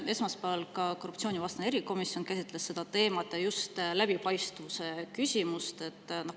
Esmaspäeval ka korruptsioonivastane erikomisjon käsitles seda teemat, ja just läbipaistvuse küsimust.